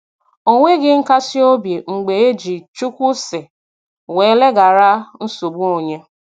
O nweghị nkasi obi mgbe e ji "Chukwu sị" wee leghara nsogbu onye.